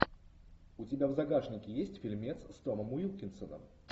у тебя в загашнике есть фильмец с томом уилкинсоном